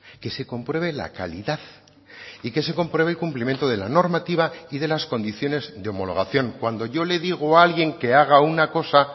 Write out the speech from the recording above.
que se compruebe la calidad y que se compruebe el cumplimiento de la normativa y de las condiciones de homologación cuando yo le digo a alguien que haga una cosa